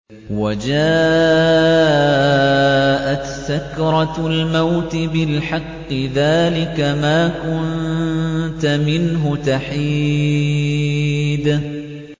وَجَاءَتْ سَكْرَةُ الْمَوْتِ بِالْحَقِّ ۖ ذَٰلِكَ مَا كُنتَ مِنْهُ تَحِيدُ